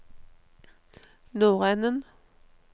nordenden